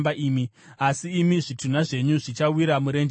Asi imi zvitunha zvenyu zvichawira murenje rino.